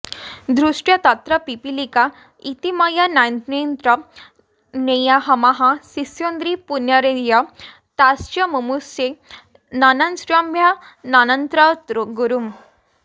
धृष्ट्वा तत्रपिपीलिका इति मया नान्यत्र नेया इमाः शेषाद्रिं पुनरेत्य ताश्चमुमुशे नन्तास्म्यनन्तं गुरुम्